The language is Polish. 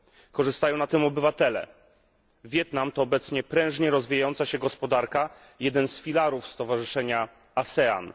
Korzystają na tym obywatele. Wietnam to obecnie prężnie rozwijająca się gospodarka, jeden z filarów Stowarzyszenia ASEAN.